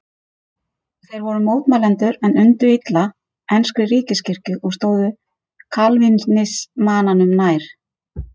Þeir voru mótmælendur en undu illa enskri ríkiskirkju og stóðu kalvínismanum nær.